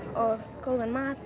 góðan mat